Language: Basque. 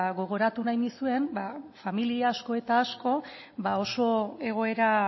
gogoratu nahi nizuen familia asko eta asko oso egoera